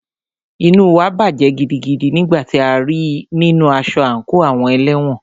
Inú wa bàjẹ́ gidigidi nígbà tí a rí í nínu aṣọ àńkò àwọn ẹlẹ́wọ̀n.